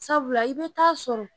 Sabula i bɛ t'a sɔrɔ.